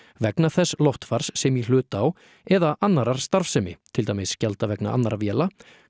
vegna þess loftfars sem í hlut á eða annarrar starfsemi til dæmis gjalda vegna annarra véla